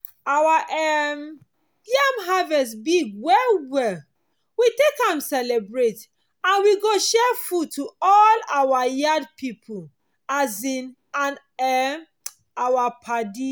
our um yam harvest big well well. we take am celebrate and we go share food to all our yard pipo um and um our padi.